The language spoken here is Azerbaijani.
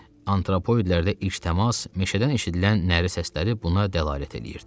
Antropoidlərdə ilk təmas meşədən eşidilən nəri səsləri buna dəlalət edirdi.